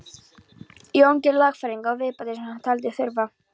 Jón gerði lagfæringar og viðbætur sem hann taldi þurfa.